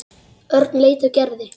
Örn leit á Gerði.